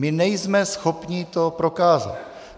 My nejsme schopni to prokázat.